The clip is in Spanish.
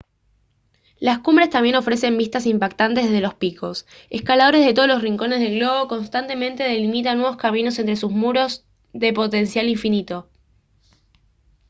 las cumbres también ofrecen vistas impactantes desde los picos escaladores de todos los rincones del globo constantemente delimitan nuevos caminos entre sus muros de potencial infinito